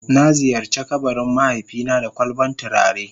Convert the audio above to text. Na ziyarce kabarin mahaifi na da kwalban tulare.